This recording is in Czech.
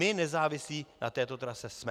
My závislí na této trase jsme.